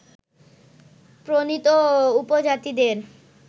প্রণীত উপজাতিদের